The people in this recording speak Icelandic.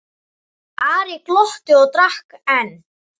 Ari glotti og drakk enn.